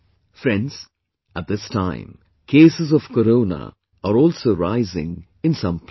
Friends, at this time, cases of Corona are also rising in some places